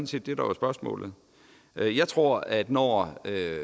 set det der var spørgsmålet jeg tror at når